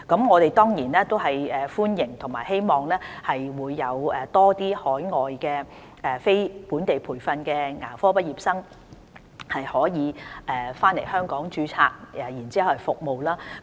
我們當然歡迎和希望多些海外非本地培訓牙科畢業生回港註冊，為我們提供服務。